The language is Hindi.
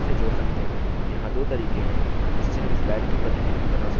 यहाँ दो तरीके है जिससे हम slide की प्रतिलिपि डुप्लिकेट बना सकते हैं